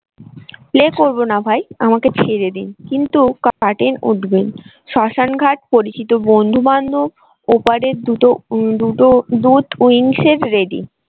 play করবো না ভাই আমাকে ছেড়ে দিন কিন্তু উঠবেন শ্মশান ঘাট পরিচিত বন্ধুবান্ধব ওপারের দুটো ready ।